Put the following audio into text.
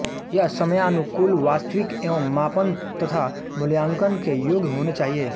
यह समयानुकूल वास्तविक एवं मापन तथा मूल्यांकन के योग्य होने चाहिएँ